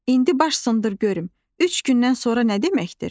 indi baş sındır görüm, üç gündən sonra nə deməkdir?